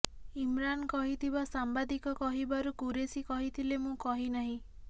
ଇମରାନ କହିଥିବା ସାମ୍ବାଦିକ କହିବାରୁ କୁରେଶୀ କହିଥିଲେ ମୁଁ କହିନାହିଁ